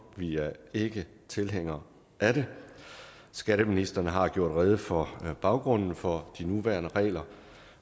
vi er ikke tilhængere af det skatteministeren har gjort rede for baggrunden for de nuværende regler